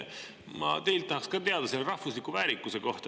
Ma tahan teilt ka teada rahvusliku väärikuse kohta.